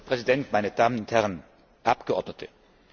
Herr Präsident, meine Damen und Herren Abgeordnete!